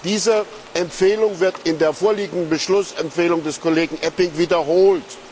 Diese Empfehlung wird in der vorliegenden Beschlussempfehlung des Kollegen Eppink wiederholt.